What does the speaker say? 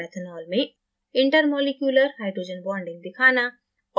methanol में intermolecular hydrogen bonding दिखाना